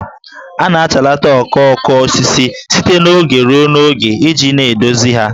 A na-achalata okooko osisi site n'oge ruo n'oge iji na-edozi ya